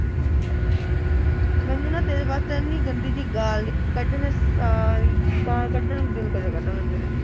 ਮੈਨੂੰ ਨਾ ਤੇਰੇ ਵਾਸਤੇ ਇਹੀ ਗੰਦੀ ਜਿਹੀ ਗਾਲ੍ਹ ਕੱਢੇ ਨੇ ਸਾਲੀ ਤਾਂ ਕੱਟਣ ਨੂੰ ਜੀਅ ਕਰਿਆ ਕਰਦਾ